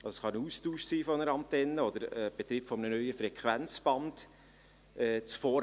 Dies kann ein Austausch einer Antenne oder der Betrieb eines neuen Frequenzbandes sein.